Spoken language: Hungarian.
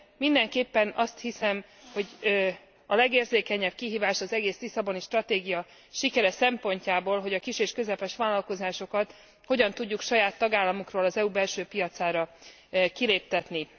Mindenképpen azt hiszem, hogy a legérzékenyebb kihívás az egész Lisszaboni Stratégia sikere szempontjából, hogy a kis és közepes vállalkozásokat hogyan tudjuk saját tagállamukról az EU belső piacára kiléptetni.